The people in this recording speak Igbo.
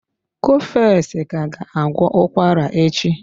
Cofex ka ga agwọ ụkwara echi.